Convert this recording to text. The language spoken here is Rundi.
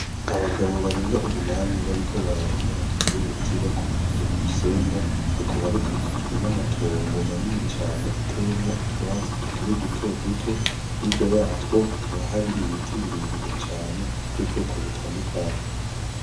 Abagabo barenga umunani bariko bararoba mu ruzi bakoresheje urusenga. Rukaba rukikijwe n'amatongo manini cane atayemwo utwatsi tukiri duto duto. Hirya yatwo hakaba hari ibiti birebire cane by'ubwoko butandukanye.